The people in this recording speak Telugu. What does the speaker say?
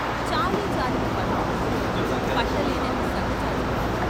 చాలీ చాలని పవిట కొంగులో పట్టలేనన్ని సన్న జాజులు!